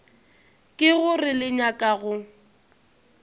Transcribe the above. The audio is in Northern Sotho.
ke gore le nyaka go